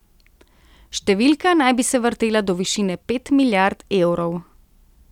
Številka naj bi se vrtela do višine pet milijard evrov.